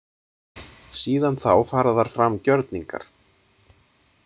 Síðan þá fara þar fram gjörningar.